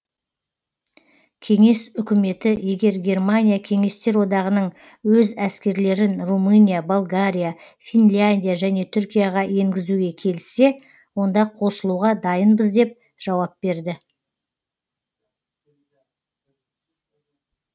кеңес үкіметі егер германия кеңестер одағының өз әскерлерін румыния болгария финляндия және түркияға енгізуге келіссе онда қосылуға дайынбыз деп жауап берді